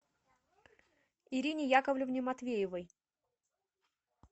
ирине яковлевне матвеевой